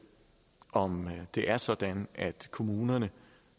om det er sådan at kommunerne